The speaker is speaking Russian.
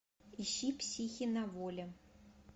ищи психи на воле